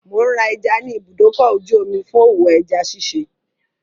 Mò ń ra ẹja ní ibùdókọ̀-ojú-omi fún òwò ẹja ṣiṣẹ́.